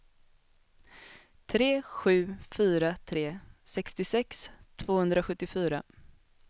tre sju fyra tre sextiosex tvåhundrasjuttiofyra